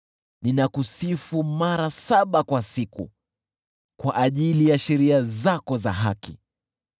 Ninakusifu mara saba kwa siku, kwa ajili ya sheria zako za haki.